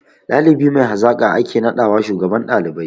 Ɗalibi mai hazaƙa ake naɗawa shugaban ɗalibai